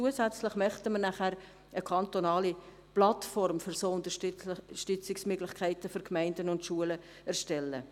Zusätzliche wollen wir danach eine kantonale Plattform für solche Unterstützungsmöglichkeiten für Gemeinden und Schulen erstellen.